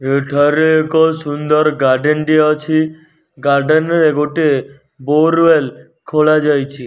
ଏଠାରେ ଏକ ସୁନ୍ଦର ଗାର୍ଡେନ ଟେ ଅଛି ଗାର୍ଡେନ ରେ ଗୋଟେ ବୋରୱେଲ୍ ଖୋଲା ଯାଇଛି।